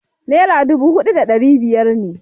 Naira dubu huɗu da ɗari biyar ne.